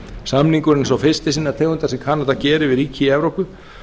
samningurinn er sá fyrsti sinnar tegundar sem kanada gerir við ríki í evrópu